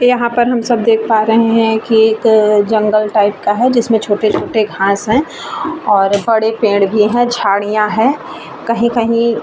यहाँ पर हम सब देख पा रहे हैं की एक अ जंगल टाइप का है जिसमें छोटे-छोटे घास है और बड़े पेड़ भी हैं झाड़ियां हैं कहीं कहीं।